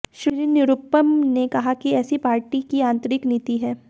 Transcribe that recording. श्री निरुपम ने कहा कि ऐसी पार्टी की आंतरिक नीति है